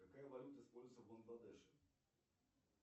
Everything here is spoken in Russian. какая валюта используется в бангладеше